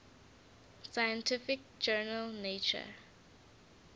scientific journal nature